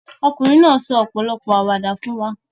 Ọkùnrin náà sọ ọ̀pọ̀lọpọ̀ àwàdà fún wa.